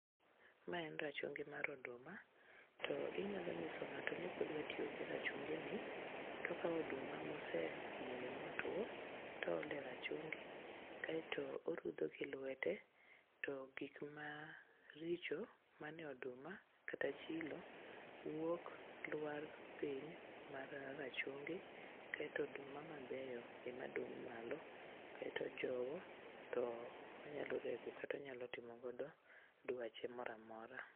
Mae en rachungi mar oduma, to inyalo nyiso ng'ato ni kodwatiyo gi rachungini to okawo oduma ma osemoyo motwo toolo e rachungi kaeto orudho gi lwete to gikmaricho mane oduma kata chilo wuok lwar piny mar rachungi kaeto oduma mabeyo ema dong' malo kaeto ojowo to onyalo rego kata onyalo timogodo dwache moro amora.